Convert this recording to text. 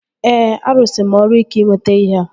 Ee, arụsịrị m ọrụ ike ịnweta ihea